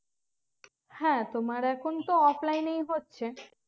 হ্যাঁ তোমার এখন তো offline এই হচ্ছে